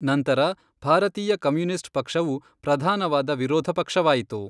ನಂತರ ಭಾರತೀಯ ಕಮ್ಯುನಿಸ್ಟ್ ಪಕ್ಷವು ಪ್ರಧಾನವಾದ ವಿರೋಧ ಪಕ್ಷವಾಯಿತು.